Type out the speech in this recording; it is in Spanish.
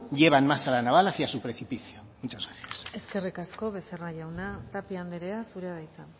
llevan más a la naval a su precipicio muchas gracias eskerrik asko becerra jauna tapia anderea zurea da hitza